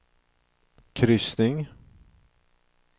kryssning